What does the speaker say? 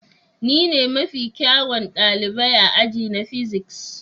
Ni ne mafi kyawun ɗalibi a aji na physics.